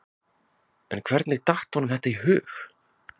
En hvernig datt honum þetta í hug?